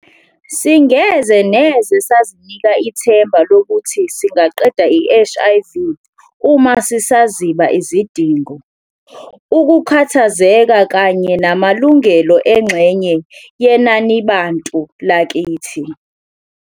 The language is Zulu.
Singeze neze sazinika ithemba lokuthi singaqeda i-HIV uma sisaziba izidingo, ukukhathazeka kanye namalungelo engxenye yenanibantu lakithi.